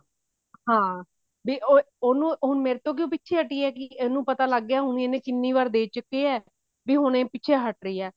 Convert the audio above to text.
ਹਾਂ ਵੀ ਉਹਨੂੰ ਹੁਣ ਮੇਰੇ ਤੋਂ ਕਿਉ ਣ ਪਿੱਛੇ ਹਟੀ ਹੈਗੀ ਉਹਨੂੰ ਪਤਾ ਲੱਗ ਗਿਆ ਕੀ ਇਹ ਕਿੰਨੀ ਵਾਰ ਦੇ ਚੁੱਕੇ ਆ ਵੀ ਹੁਣ ਇਹ ਪਿੱਛੇ ਹਟ ਰਹੀ ਹੈ